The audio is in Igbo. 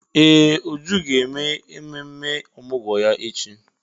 Ee! Uju ga-eme ememme ọmụgwọ ya echi.